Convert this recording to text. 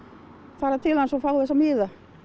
fara til hans og fá þessa miða